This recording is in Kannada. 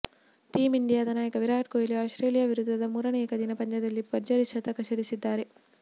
ಟೀಂ ಇಂಡಿಯಾದ ನಾಯಕ ವಿರಾಟ್ ಕೊಹ್ಲಿ ಆಸ್ಟ್ರೇಲಿಯಾ ವಿರುದ್ಧದ ಮೂರನೇ ಏಕದಿನ ಪಂದ್ಯದಲ್ಲಿ ಭರ್ಜರಿ ಶತಕ ಸಿಡಿಸಿದ್ದಾರೆ